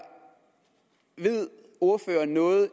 ved ordføreren noget